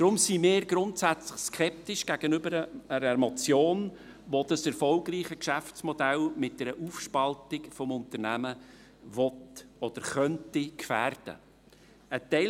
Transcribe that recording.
Deshalb sind wir grundsätzlich skeptisch gegenüber einer Motion, die das erfolgreiche Geschäftsmodell mit einer Aufspaltung des Unternehmens gefährden will oder gefährden könnte.